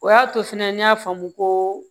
O y'a to fana n y'a faamu ko